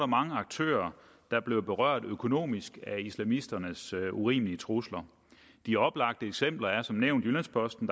mange aktører der blev berørt økonomisk af islamisternes urimelige trusler de oplagte eksempler er som nævnt jyllands posten